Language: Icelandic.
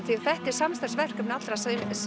því þetta er samstarfsverkefni allra